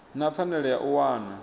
na pfanelo ya u wana